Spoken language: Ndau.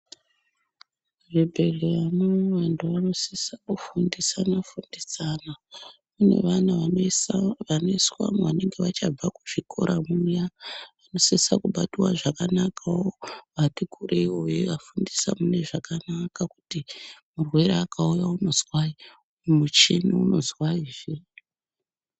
Muzvibhedhlera munomu vantu vanofan irwa kufundisana fundisana nevana vanoiswamo vanenge vachangobva muzvikora muya vanosisa kubatwa zvakanaka wo vati kurei vayivafundisa munezvakana wo kuti murwere akauya unozwai muchini unozwai.